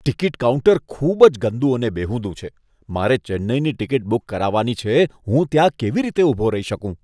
Ticket counter ખૂબ જ ગંદુ અને બેહુદુ છે. મારે ચેન્નઈની ટિકિટ બુક કરાવવાની છે, હું ત્યાં કેવી રીતે ઊભો રહી શકું?